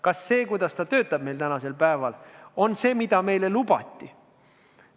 Kas see, kuidas ta töötab meil tänasel päeval, on see, mida meile lubati?